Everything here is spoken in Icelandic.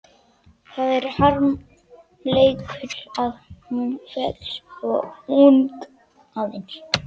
Það er harmleikur að hún féll svo ung, aðeins